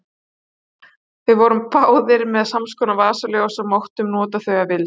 Við vorum báðir með samskonar vasaljós og máttum nota þau að vild.